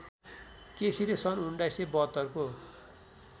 केसीले सन् १९७२ को